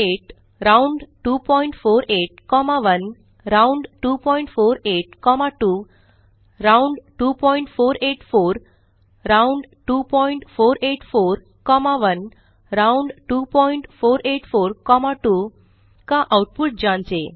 round248 round248 1 round248 2 round2484 round2484 1 round2484 2 का output जाँचें